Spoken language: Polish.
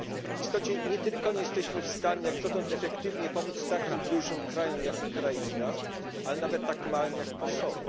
W istocie nie tylko nie jesteśmy w stanie jak dotąd efektywnie pomóc takim dużym krajom jak Ukraina, ale nawet tak małym jak Kosowo.